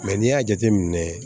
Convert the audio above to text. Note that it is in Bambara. Mɛ n'i y'a jateminɛ